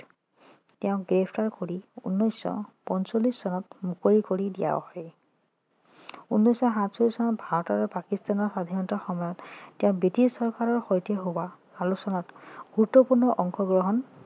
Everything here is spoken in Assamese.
তেওঁক গ্ৰেপ্তাৰ কৰি উনৈছশ পঞ্চল্লিছ চনত মুকলি কৰি দিয়া হয় উনৈছশ সাতচল্লিছ চনত ভাৰত আৰু পাকিস্থানৰ স্বাধীনতাৰ সময়ত তেওঁ বৃটিছ চৰকাৰৰ সৈতে হোৱা আলোচনাত গুৰুত্বপূৰ্ণ অংশগ্ৰহণ